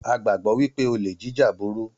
A gbàgbọ́ wípé olè jíjà burú